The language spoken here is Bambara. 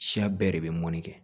Siya bɛɛ de bɛ mɔni kɛ